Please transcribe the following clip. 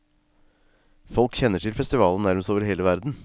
Folk kjenner til festivalen nærmest over hele verden.